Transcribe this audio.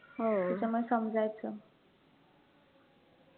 त्याच्यामुळे समजायचं